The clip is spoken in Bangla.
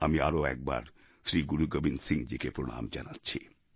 আমি আরও একবার শ্রী গুরু গোবিন্দ সিংজীকে প্রণাম জানাচ্ছি